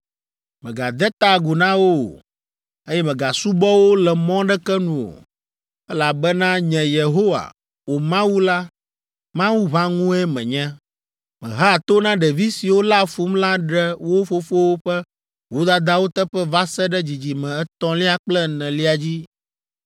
Mègade ta agu na wo o, eye mègasubɔ wo le mɔ aɖeke nu o, elabena nye Yehowa, wò Mawu la, Mawu ʋãŋue menye. Mehea to na ɖevi siwo léa fum la ɖe wo fofowo ƒe vodadawo teƒe va se ɖe dzidzime etɔ̃lia kple enelia dzi.